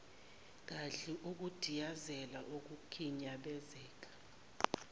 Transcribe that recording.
gadli ukudiyazela ukukhinyabezeka